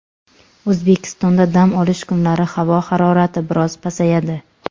O‘zbekistonda dam olish kunlari havo harorati biroz pasayadi.